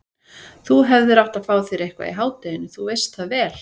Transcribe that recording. Þú hefðir átt að fá þér eitthvað í hádeginu, þú veist það vel.